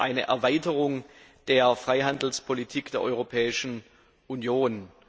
eine Erweiterung der Freihandelspolitik der Europäischen Union?